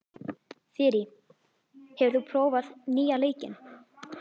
Þyrí, hefur þú prófað nýja leikinn?